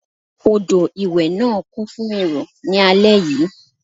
Odò ìwẹ̀ náà kún fún èrò ní alẹ́ yìí.